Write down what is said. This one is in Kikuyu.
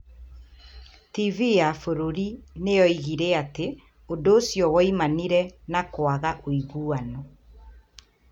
TV ya bũrũri nĩ yoigire atĩ ũndũ ũcio woimanire na kwaga ũiguano.